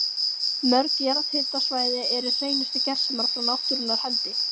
Mörg jarðhitasvæði eru hreinustu gersemar frá náttúrunnar hendi.